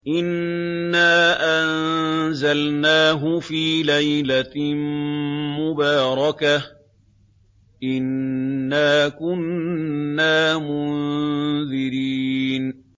إِنَّا أَنزَلْنَاهُ فِي لَيْلَةٍ مُّبَارَكَةٍ ۚ إِنَّا كُنَّا مُنذِرِينَ